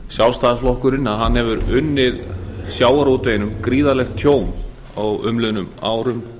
sjálfstæðisflokkurinn hefur unnið sjávarútveginum gríðarlegt tjón á umliðnum árum